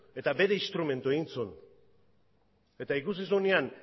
eta bere instrumentu egin zuen eta ikusi zuenean